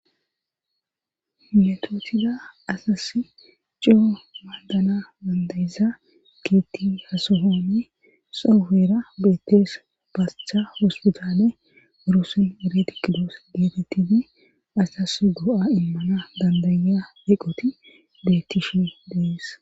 metootida asas coo maadana bandayiza gitti hasohone soofera beettees basctha hospichale gurosen ere tikidoos deetettiti asas go7a immana dandaya deqoti bettifi dees